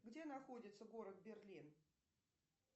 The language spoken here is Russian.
где находится город берлин